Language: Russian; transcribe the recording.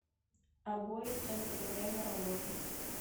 обои центр время работы